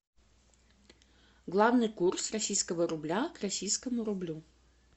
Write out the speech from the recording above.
главный курс российского рубля к российскому рублю